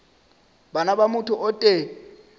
bana ba motho o tee